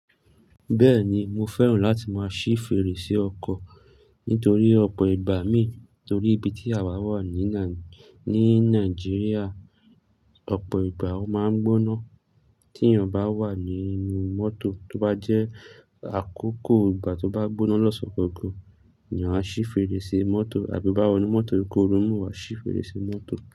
Bẹ́ẹ̀ni, mo fẹ́ràn láti máa ṣí fèrèsé ọkọ̀ nítorí ọ̀pọ̀ ìgbà mi, torí ibi tí àwa wà ní Nai-ní Nigeria, ọ̀pọ̀ ìgbà ó máa ń gbóná. Tí èèyàn bá wà ní inú mọ́tò, tó bá jẹ́ àkókò ìgbà tó bá gbóná lọ́san gangan, ni a ṣí fèrèsé mọ́tò àbí bá wọ inú mọ́tò koru mú, wá ṣí fèrèsé mọ́tò.